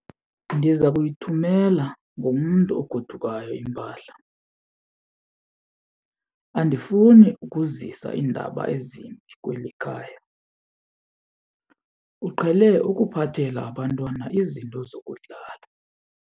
Ndiza kuyithumela ngomntu ogodukayo impahla. Andifuni ukuzisa iindaba ezimbi kweli khaya, uqhele ukuphathela abantwana izinto zokudlala.